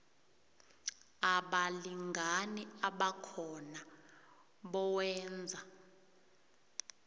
abalingani abakhona bowenza